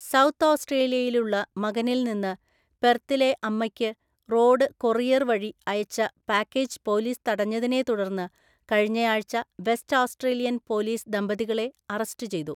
South ഓസ്‌ട്രേലിയയിലുള്ള മകനിൽ നിന്ന് പെർത്തിലെ അമ്മയ്ക്ക് റോഡ് കൊറിയർ വഴി അയച്ച പാക്കേജ് പോലീസ് തടഞ്ഞതിനെ തുടർന്ന് കഴിഞ്ഞയാഴ്ച വെസ്റ്റ് ഓസ്‌ട്രേലിയൻ പോലീസ് ദമ്പതികളെ അറസ്റ്റ് ചെയ്തു.